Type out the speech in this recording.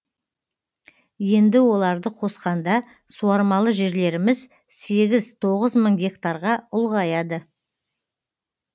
енді оларды қосқанда суармалы жерлеріміз сегіз тоғыз мың гектарға ұлғаяды